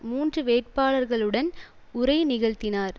மூன்று வேட்பாளர்களுடன் உரை நிகழ்த்தினார்